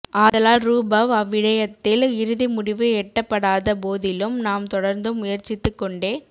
ஆதலால்ரூபவ் அவ்விடயத்தில் இறுதி முடிவு எட்டப்படாத போதிலும் நாம் தொடர்ந்தும் முயற்சித்துக் கொண்டே